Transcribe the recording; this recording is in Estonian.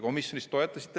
Komisjonis te toetasite.